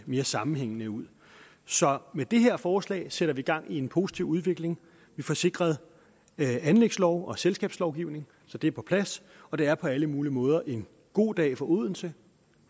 mere sammenhængende ud så med det her forslag sætter vi gang i en positiv udvikling vi får sikret anlægslov og selskabslovgivning så det er på plads og det er på alle mulige måder en god dag for odense